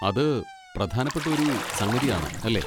അത് പ്രധാനപ്പെട്ട ഒരു സംഗതി ആണ്, അല്ലേ?